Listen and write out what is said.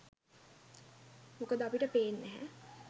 මොකද අපිට පේන්නැහැ